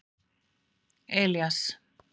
Elías